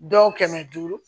Dɔw kɛmɛ duuru